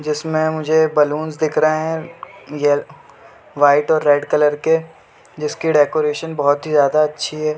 जिसमें मुझे एक बैलून्स दिख रहे है यै वाइट और रेड कलर के जिसकी डेकोरेशन बहुत जायदा अच्छी है।